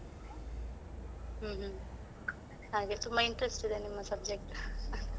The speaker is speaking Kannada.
ಹ್ಮ್ ಹ್ಮ್ ಹಾಗೆ ತುಂಬ interest ಇದೆ ನಿಮ್ಮ subject .